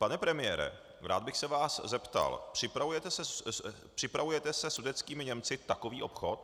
Pane premiére, rád bych se vás zeptal - připravujete se sudetskými Němci takový obchod?